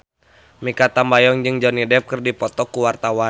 Mikha Tambayong jeung Johnny Depp keur dipoto ku wartawan